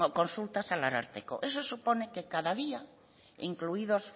consultas al ararteko eso supone que cada día incluidos